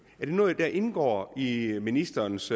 er det noget der indgår i ministerens